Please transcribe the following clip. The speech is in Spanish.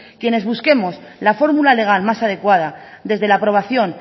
quienes busquemos la fórmula legal más adecuada desde la aprobación